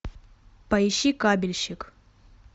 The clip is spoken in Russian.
поищи кабельщик